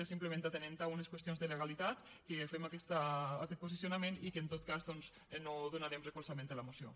és simplement atenent a unes qüestions de legalitat que fem aquest posicionament i que en tot cas doncs no donarem recolzament a la moció